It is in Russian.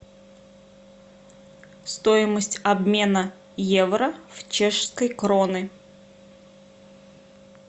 стоимость обмена евро в чешской кроны